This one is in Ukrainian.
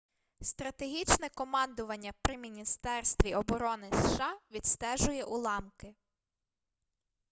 стратегічне командування при міністерстві оборони сша відстежує уламки